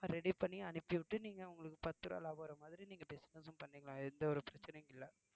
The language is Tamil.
ready பண்ணி அனுப்பி விட்டு நீங்க உங்களுக்கு பத்து ரூபாய் லாபம் வர்ற மாதிரி நீங்க business ம் பண்ணிக்கலாம் எந்த ஒரு பிரச்சனையும் இல்லை